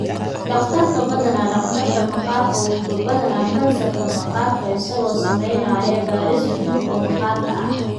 Dhakhtarka, badanaa dhakhtarka maqaarka, wuxuu baadha kansarka maqaarka isagoo samaynaya baadhis guud oo maqaarka ah.